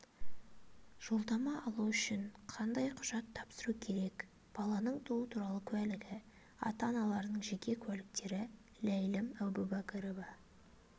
жолдама алу үшін қандай құжат тапсыру керек баланың туу туралы куәлігі ата-аналарының жеке куәліктері ләйлім әубәкірова